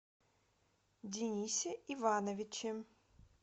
денисе ивановиче